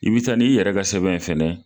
I bi taa n'i yɛrɛ ka sɛbɛn ye fɛnɛ